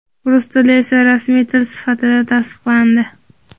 rus tili esa rasmiy til sifatida tasdiqlandi.